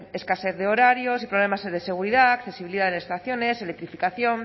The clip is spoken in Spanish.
escasez de horarios y problemas de seguridad accesibilidad en estaciones electrificación